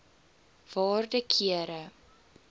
waarde kere